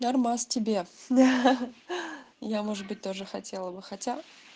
нормас тебе хи-хи я может быть тоже хотела бы хотя